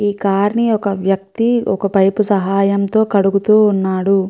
ఈ కార్ ని ఒక వ్యక్తి ఒక పైపు సహాయంతో కడుగుతూ ఉన్నాడు.